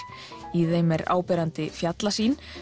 í þeim er áberandi fjallasýn